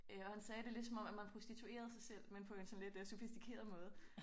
Øh og han sagde det lidt som om at man prostituerede sig selv men på en lidt øh sådan sofistikeret måde